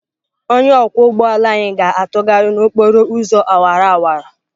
Onye ọkwọ ụgbọ ala anyị ga-atụgharị n'okporo ụzọ awara awara.